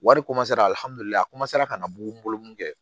Wari ka na bugu n bolo mun kɛ